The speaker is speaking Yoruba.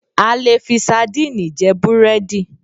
A lè fi sardinni jẹ búrẹ́dì